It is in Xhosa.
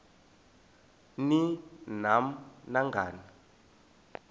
ni nam nangani